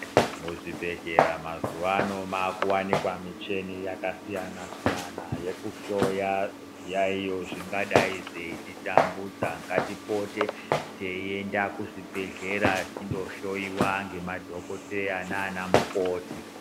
Muzvibhedhlera mazuwa ano maakuwanikwa michini yakasiyana-siyana, yekuhloya zviyaiyo zvingadai zveititambudza. Ngatipote teienda kuzvibhedhlera, tindohloyiwa ngemadhokodheya naana mukoti.